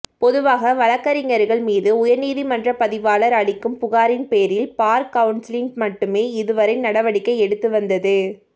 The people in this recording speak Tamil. பொதுவாக வழக்கறிஞர்கள் மீது உயர்நீதிமன்ற பதிவாளர் அளிக்கும் புகாரின்பேரில் பார் கவுன்சில் மட்டுமே இதுவரை நடவடிக்கை எடுத்து வந்தது